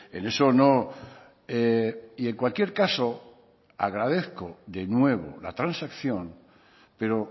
en eso no y en cualquier caso agradezco de nuevo la transacción pero